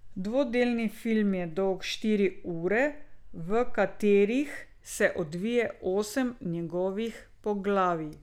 Dvodelni film je dolg štiri ure, v katerih se odvije osem njegovih poglavij.